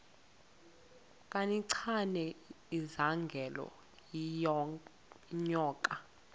kancinane izingela iinyoka